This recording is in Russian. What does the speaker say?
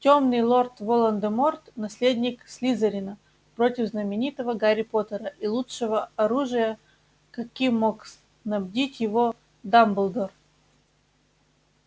тёмный лорд волан-де-морт наследник слизерина против знаменитого гарри поттера и лучшего оружия каким мог снабдить его дамблдор